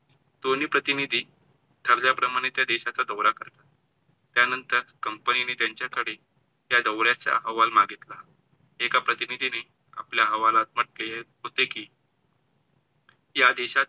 दोनी प्रतिनिधी ठरल्या प्रमाणे त्या देशाचा दौरा करतात. त्यांनतर company नी त्यांच्याकडे त्या दौरा चा हवाल मागितला. एका प्रतिनिधीनी आपल्या अहवालात म्हंटले होते कि या देशातील